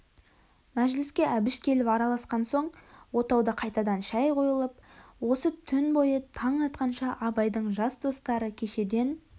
мәжіліске әбіш келіп араласқан соң отауда қайтадан шай қойылып осы түн бойы таң атқанша абайдың жас достары кешеден